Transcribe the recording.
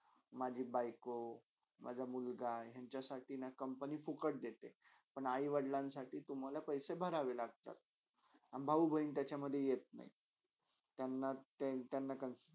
माझ्या बायको, माझा मुलगा यंच्यासाठीना company ना फुक्ट देते पण आई - वडिलांसाठी तुम्हाला पैसे भरावे लागतात. भाऊ -बहिण त्याच्यामधे येत नाही त्यांना त्यांना consider